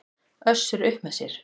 Össur upp með sér.